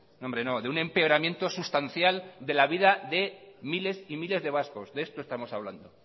no hombre no de un empeoramiento sustancial de la vida de miles y miles de vascos de esto estamos hablando